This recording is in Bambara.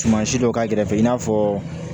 Suman si dɔ k'a kɛrɛfɛ i n'a fɔ